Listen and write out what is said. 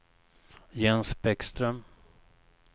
Jens Bäckström